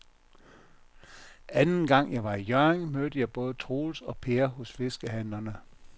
Anden gang jeg var i Hjørring, mødte jeg både Troels og Per hos fiskehandlerne.